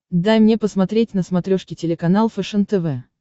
дай мне посмотреть на смотрешке телеканал фэшен тв